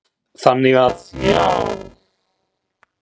Þannig að já.